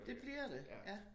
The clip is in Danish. Det bliver det ja